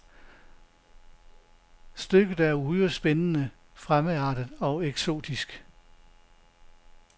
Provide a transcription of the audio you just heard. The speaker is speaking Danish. Stykket er uhyre spændende, fremmedartet og eksotisk.